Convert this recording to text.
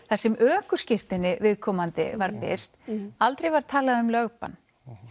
þar sem ökuskírteinið viðkomandi var birt aldrei var talað um lögbann